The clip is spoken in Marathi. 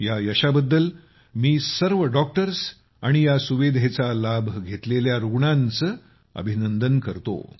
या यशाबद्दल मी सर्व डॉक्टर्स आणि या सुविधेचा लाभ घेतलेल्या रुग्णांचे अभिनंदन करतो